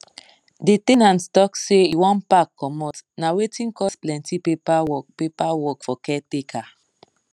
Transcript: the ten ant talk say e wan pack comot na wetin cos plenty paper work paper work for caretaker